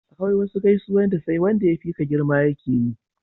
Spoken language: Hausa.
akwai wasu gaisuwan da sai Wanda ya fi ka girma ya keyi